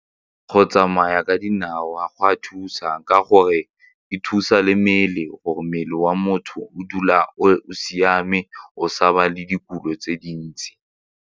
Go tsamaya ka dinao go a thusa ka gore e thusa le mmele gore mmele wa motho o dula o siame o sa ba le ditulo tse dintsi.